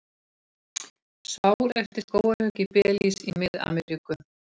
Sár eftir skógarhögg í Belís í Mið-Ameríku.